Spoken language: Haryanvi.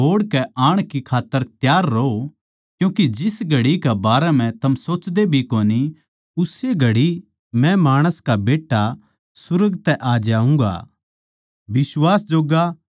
थम भी मेरे बोहड़ के आण खात्तर तैयार रहो क्यूँके जिस घड़ी कै बारै म्ह थम सोचदे भी कोनी उस्से घड़ी मै माणस का बेट्टा सुर्ग तै आ जाऊँगा